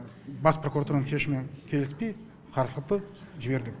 бас прокуратураның шешімі келіспей қарсылықты жібердік